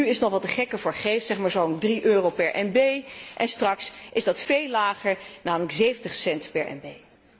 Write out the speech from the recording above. Nu is het nog wat de gek ervoor geeft, zeg maar zo'n 3 euro per MB, en straks is dat veel lager, namelijk 70 cent per MB.